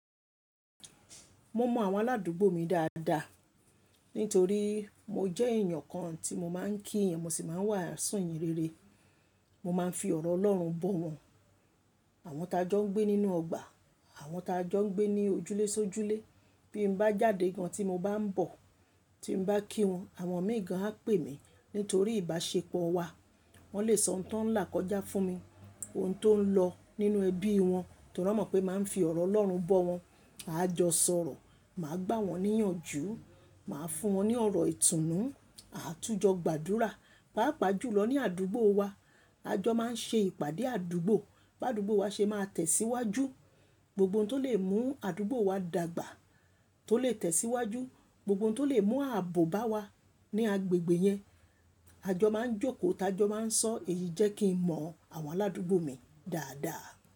Mo mọ àwọn aládùúgbò mi dáadáa nítorí mo jẹ́ èèyàn kan tí mo máa ń kí yan, mo sì máa ń waà sù iyìn rere. Mo máa ń fi ọ̀rọ̀ Ọlọ́run bọ̀ wọ́n. Àwọn tá jọ ń gbé nínú ọgbà, àwọn tá jọ ń gbé ní ojúlé si ojúlé. Bí n bá jáde gan tí mo bá ń bọ̀, tí mo bá kí wọn, àwọn imii gán á pè mí nítorí ìbáṣepọ̀ wa. Wọ́n lè sọ ohun tó ń là kọjá fún mi, ohun tó ń lọ nínú ẹbí wọn torí wọ́n mọ̀ pé mo màá ń fi ọ̀rọ̀ Ọlọ́run bọ̀ wọ́n. Aa jọ sọ̀rọ̀, màá gbá wọn ní ìyànjú, màá fún wọn ní ọ̀rọ̀ ìtùnú, a tún jọ gbàdúrà. Páàpáà jù lọ ní àdúgbò wa, a jọ máa ń ṣe ìpàdé àdúgbò. Bi àdúgbò wa ṣe máa tẹ̀síwájú, gbogbo ohun tó lè mú àdúgbò wa dàgbà tó lè tẹ̀síwájú, gbogbo ohun tó lè mú ààbò bá wa ní agbègbè yẹn, a jọ máa ń jókòó tá a jọ máa ń sọ. Èyí jẹ́ kí n mọ àwọn aládùúgbò mi dáadáa.